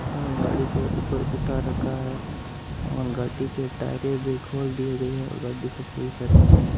और गाड़ी को ऊपर उठा रखा है और गाड़ी की टायरे भी खोल दी गई है और गाड़ी को सही कर रहे है।